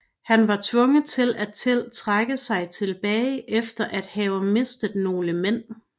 Han var tvunget til at trække sig tilbage efter at have mistet nogle mænd